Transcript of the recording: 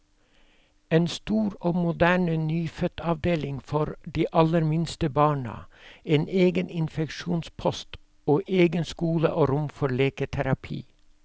En stor og moderne nyfødtavdeling for de aller minste barna, en egen infeksjonspost, og egen skole og rom for leketerapi.